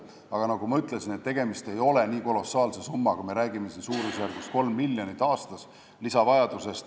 Aga nagu ma ütlesin, tegemist ei ole nii kolossaalse summaga, me räägime siin lisavajadusest suurusjärgus 3 miljonit aastas.